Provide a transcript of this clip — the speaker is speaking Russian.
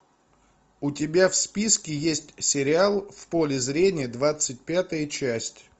у тебя в списке есть сериал в поле зрения двадцать пятая часть